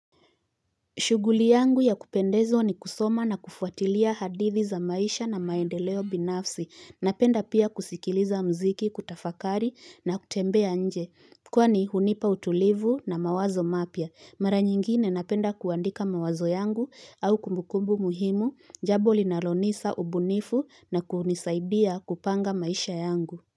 Shughuli yangu ya kupendeza ni kusoma na kufuatilia hadithi za maisha na maendeleo binafsi, napenda pia kusikiliza mziki, kutafakari na kutembea nje, kwani hunipa utulivu na mawazo mapya. Mara nyingine napenda kuandika mawazo yangu au kumbukumbu muhimu, jambo linalonipa ubunifu na kunisaidia kupanga maisha yangu.